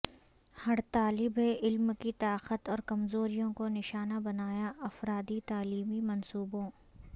ہر طالب علم کی طاقت اور کمزوریوں کو نشانہ بنایا انفرادی تعلیمی منصوبوں